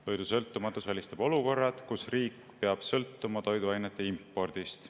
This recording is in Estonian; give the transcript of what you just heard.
Toidusõltumatus välistab olukorrad, kus riik peab sõltuma toiduainete impordist.